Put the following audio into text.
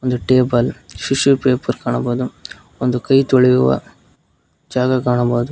Table tissue paper ಕಾಣಬಹುದು ಒಂದು ಕೈ ತೊಳೆಯುವ ಜಾಗ ಕಾಣಬಹುದು.